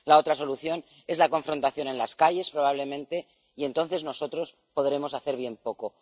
La otra solución es la confrontación en las calles, probablemente, y entonces nosotros podremos hacer bien poco.